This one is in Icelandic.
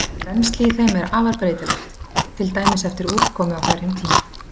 Rennsli í þeim er afar breytilegt, til dæmis eftir úrkomu á hverjum tíma.